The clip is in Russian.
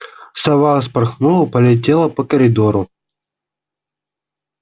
сова вспорхнула полетела по коридору